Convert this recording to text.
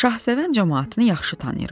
Şahsevən camaatını yaxşı tanıyırıq.